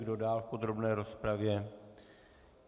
Kdo dál v podrobné rozpravě?